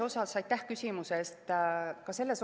Aitäh küsimuse eest!